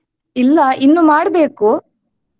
ಇಲ್ಲ ಇನ್ನು ಮಾಡ್ಬೇಕು.